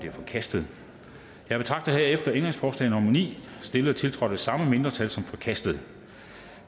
er forkastet jeg betragter herefter ændringsforslag nummer ni stillet og tiltrådt af det samme mindretal som forkastet